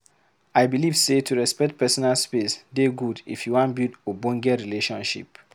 I believe sey to respect personal space dey good if you wan build ogbonge relationship.